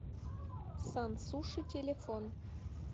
сан суши телефон